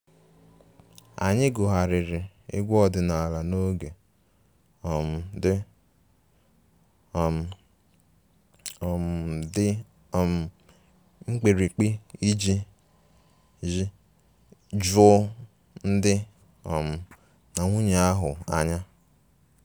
Anyị gụgharịrị egwu ọdịnala n'oge um dị um um dị um mkpirikpi iji ju di um na nwunye ahụ anya